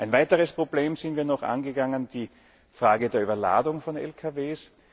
Ein weiteres Problem sind wir noch angegangen, nämlich die Frage der Überladung von Lkws.